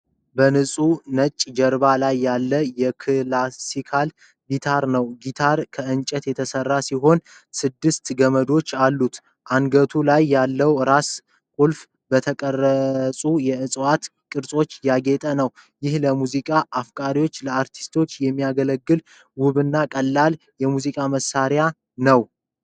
በንፁህ ነጭ ጀርባ ላይ ያለ የክላሲካል ጊታር ነው። ጊታሩ ከእንጨት የተሠራ ሲሆን፣ ስድስት ገመዶች አሉት። አንገቱ ላይ ያለው ራስ ክፍል በተቀረጹ የእፅዋት ቅርጾች ያጌጠ ነው። ይህ ለሙዚቃ አፍቃሪዎችና ለአርቲስቶች የሚያገለግል ውብና ቀላል የሙዚቃ መሣሪያ ነው።